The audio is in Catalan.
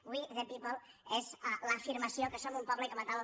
we the people és l’afirmació que som un poble i com a tal